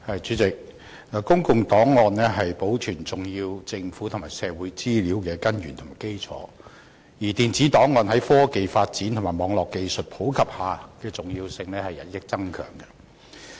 主席，公共檔案是保存重要的政府和社會資料的根源和基礎，而電子檔案在科技發展和網絡技術普及下的重要性亦與日俱增。